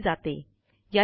ने चालविली जाते